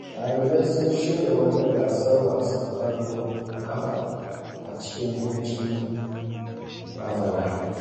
Ɗalibai sun shirya wata gasar wasan ƙwallon ƙafa a cikin hutun bazara.